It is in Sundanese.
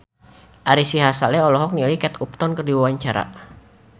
Ari Sihasale olohok ningali Kate Upton keur diwawancara